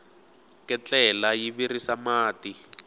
ketlela yi virisa mati